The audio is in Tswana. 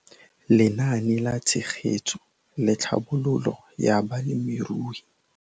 Lenaane la Tshegetso le Tlhabololo ya Balemirui